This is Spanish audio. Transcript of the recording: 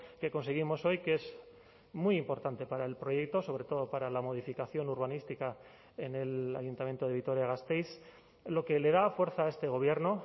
que conseguimos hoy que es muy importante para el proyecto sobre todo para la modificación urbanística en el ayuntamiento de vitoria gasteiz lo que le da fuerza a este gobierno